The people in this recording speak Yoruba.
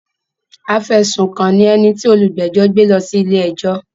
Afẹ̀sùkàn ni ẹni tí òlúgbẹ́jọ́ gbé lọ ilé-ẹjọ́.